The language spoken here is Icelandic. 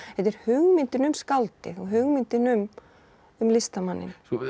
þetta er hugmyndin um skáldið og hugmyndin um um listamanninn